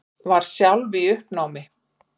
Var sjálf í uppnámi.